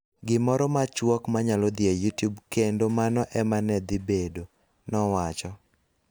Gimoro machuok ma nyalo dhi e Youtube kendo mano e ma ne dhi bedo, nowacho.